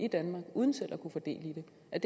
ud af